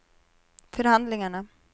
förhandlingarna